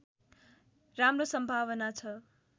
राम्रो सम्भावना छ